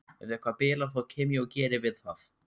Ef eitthvað bilar þá kem ég og geri við það.